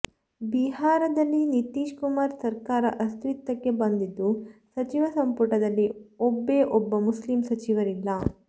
ಬಿಹಾರದಲ್ಲಿ ನಿತೀಶ್ ಕುಮಾರ್ ಸರ್ಕಾರ ಅಸ್ತಿತ್ವಕ್ಕೆ ಬಂದಿದ್ದು ಸಚಿವ ಸಂಪುಟದಲ್ಲಿ ಒಬ್ಬೆ ಒಬ್ಬ ಮುಸ್ಲಿಂ ಸಚಿವರಿಲ್ಲ